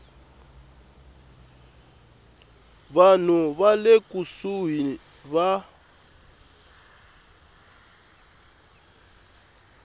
vanhu va le kusuhi va